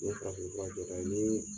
Nin ye farafinfura jɔ da ye ni